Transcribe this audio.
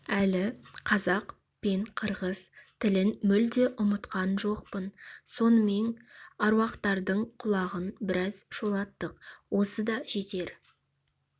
әлі қазақ пен қырғыз тілін мүлде ұмытқан жоқпын сонымен аруақтардың құлағын біраз шулаттық осы да жетер